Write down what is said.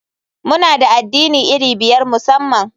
Muna da addini iri biyar musamman.